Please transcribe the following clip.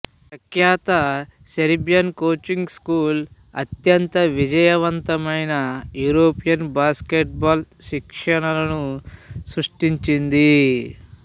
ప్రఖ్యాత Serbian coaching school అత్యంత విజయవంతమైన యూరోపియన్ బాస్కెట్ బాల్ శిక్షకులను సృష్టించింది